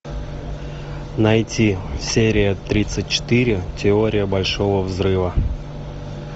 найти серия тридцать четыре теория большого взрыва